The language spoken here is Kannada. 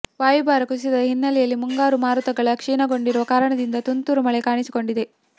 ವಾಯುಭಾರ ಕುಸಿತದ ಹಿನ್ನೆಲೆಯಲ್ಲಿ ಮುಂಗಾರು ಮಾರುತಗಳು ಕ್ಷೀಣಗೊಂಡಿರುವ ಕಾರಣದಿಂದ ತುಂತುರು ಮಳೆ ಕಾಣಿಸಿಕೊಂಡಿದೆ